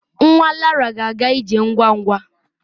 Nwa Lara ga-aga ije ngwa ngwa.